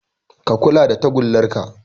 Ka kula da tagullar ka